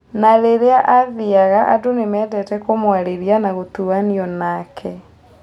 Na rĩrĩa athiaga andũ nĩmendete kũmwarĩria na gũtuanio nake.